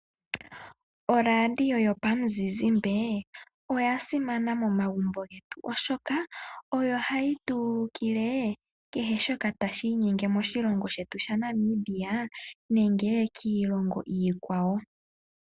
ORadio yopamuzizimba oya simana momagumbo getu oshoka oyo hayi tu ulukile kehe shoka tashi inyenge moshilongo shetu shaNamibia nenge kiilongo iikwawo.